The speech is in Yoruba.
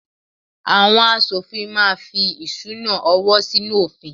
Àwọn aṣòfin máa fí ìṣúná-owó sínú òfin.